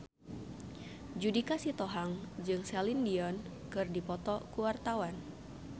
Judika Sitohang jeung Celine Dion keur dipoto ku wartawan